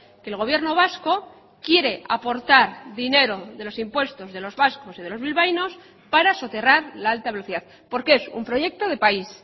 que el gobierno vasco quiere aportar dinero de los impuestos de los vascos y de los bilbaínos para soterrar la alta velocidad porque es un proyecto de país